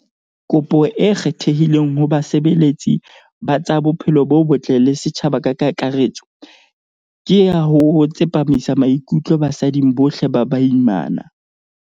"Kopo e kgethehileng ho basebeletsi ba tsa bophelo bo botle le setjhaba ka kakaretso, ke ya ho tsepamisa maikutlo basading bohle ba baimana."